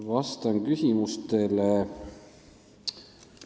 Vastan küsimustele.